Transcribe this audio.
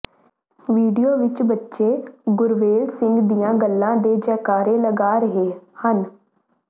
video ਵਿਚ ਬੱਚੇ ਗੁਰਵੇਲ ਸਿੰਘ ਦੀਆਂ ਗੱਲਾਂ ਤੇ ਜੈਕਾਰੇ ਲਗਾ ਰਹੇ ਹਨ